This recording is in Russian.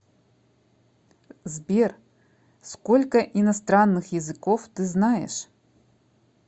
сбер сколько иностранных языков ты знаешь